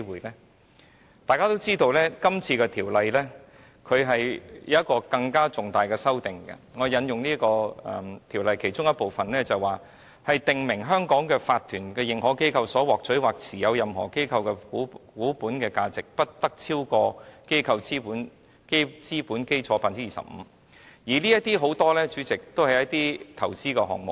大家也知道，《條例草案》有一項更重大的修訂，我引述《條例草案》其中的修訂，當中訂明在香港成立為法團的認可機構所獲取或持有任何機構的股本價值，不得超過機構資本基礎的 25%， 主席，這些很多也是投資的項目。